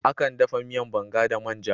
Akan dafa miyan Banga da man'ja.